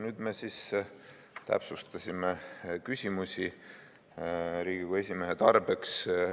Nüüd me täpsustasime küsimusi Riigikogu esimehe tarbeks.